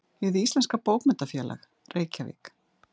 Hið íslenska bókmenntafélag: Reykjavík.